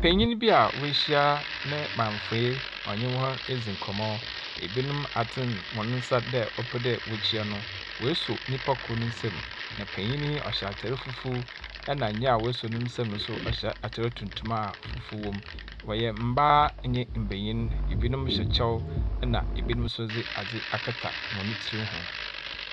Panyin bi a woehyia ne mamfoe a ɔnye hɔn ridzi nkɔmmɔ. Ebinom atsen hɔ nsa dɛ wɔpɛ dɛ wɔkyea no. woeso nnipa kor ne nsam. Na panin yi ɔhyɛ atar fufuo, ɛnna nea wasɔ ne nsɛm no nso ɔhyɛ atar tuntum a fufu wom. Wɔyɛ mmaa ne mmenyin. Ebinom hyɛ kyɛw, ɛnna ebinom nso wɔdze adze akata hɔn tsir ho.